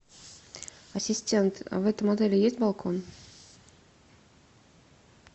ассистент в этом отеле есть балкон